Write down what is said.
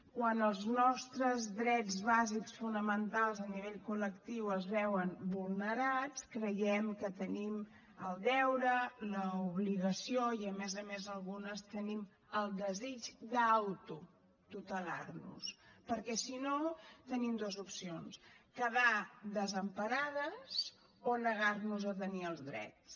quan els nostres drets bàsics fonamentals a nivell col·lectiu es veuen vulnerats creiem que tenim el deure l’obligació i a més a més algunes tenim el desig d’autotutelar nos perquè si no tenim dues opcions quedar desemparades o negar nos a tenir els drets